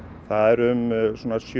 það eru um